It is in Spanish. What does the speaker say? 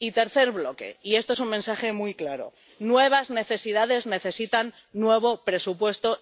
Y tercer bloque —y esto es un mensaje muy claro— nuevas necesidades necesitan nuevo presupuesto